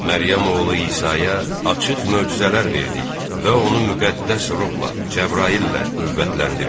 Məryəm oğlu İsaya açıq möcüzələr verdik və onu müqəddəs ruhla, Cəbraillə qüvvətləndirdik.